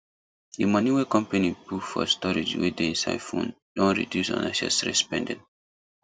the money wey company put for storage wey dey inside phone don reduce unnecessary spending